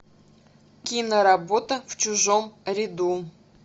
киноработа в чужом ряду